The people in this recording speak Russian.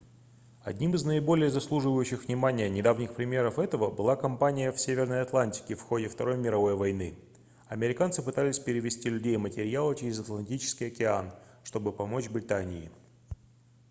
одним из наиболее заслуживающих внимания недавних примеров этого была компания в северной атлантике в ходе второй мировой войны американцы пытались перевезти людей и материалы через атлантический океан чтобы помочь британии